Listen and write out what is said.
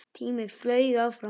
Tíminn flaug áfram.